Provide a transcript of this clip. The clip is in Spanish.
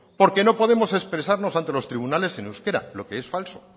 porque no podemos expresarnos ante los tribunales en euskera lo que es falso